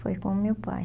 Foi com meu pai.